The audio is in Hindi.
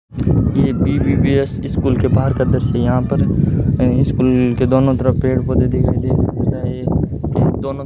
ये बी_बी_बी_एस इस स्कूल के बाहर का दृश्य यहाँ पर ये स्कूल के दोनों तरफ पेड़ पौधे दिखाई के दोनों --